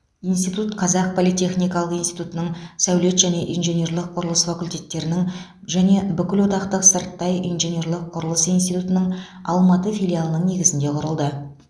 институт қазақ политехникалық институтының сәулет және инженерлік құрылыс факультеттерінің және бүкілодақтық сырттай инженерлік құрылыс институтының алматы филиалының негізінде құрылды